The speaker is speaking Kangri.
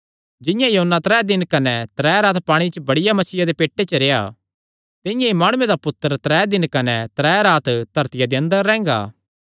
जिंआं योना त्रै दिन कने त्रै रात पांणिये च बड्डिया मच्छिया दे पेट च रेह्आ तिंआं ई मैं माणुये दा पुत्तर त्रै दिन कने त्रै रात धरतिया दे अंदर रैंह्गा